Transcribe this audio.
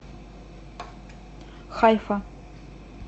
хайфа